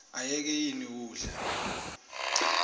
ayeke ini udla